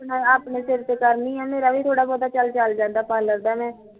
ਮੈਂ ਵੀ ਆਪਣੇ ਸਿਰ ਤੇ ਕਰਦੀ ਐ ਮੇਰਾ ਵੀ ਚਲਦਾ ਐ ਥੋੜਾ ਬਹੁਤਾ ਪਾਰਲਰ ਦਾ